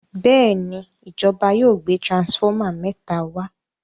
Béèni ìjọba yóò gbé transformer méta wá.